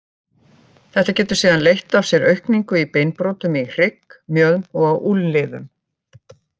Þetta getur síðan leitt af sér aukningu í beinbrotum í hrygg, mjöðm og á úlnliðum.